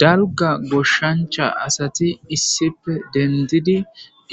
Dalga goshshancha asati issipe dendidi